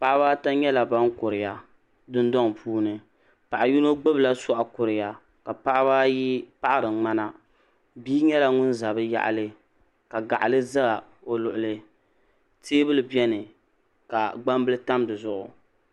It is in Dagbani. Paɣiba ata nyɛla ban kuriya dundɔŋ puuni paɣa yino gbubila sɔɣu kuriya ka paɣiba ayi paɣiri ŋmana bia nyɛla ŋun za bɛ yaɣili ka gaɣili za o luɣili teebuli beni ka gbambili tam di zuɣu.